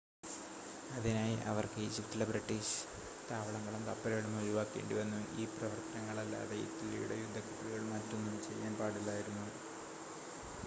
അതിനായി അവർക്ക് ഈജിപ്തിലെ ബ്രിട്ടീഷ് താവളങ്ങളും കപ്പലുകളും ഒഴിവാക്കേണ്ടിവന്നു ഈ പ്രവർത്തനങ്ങളല്ലാതെ ഇറ്റലിയുടെ യുദ്ധക്കപ്പലുകൾ മറ്റൊന്നും ചെയ്യാൻ പാടില്ലായിരുന്നു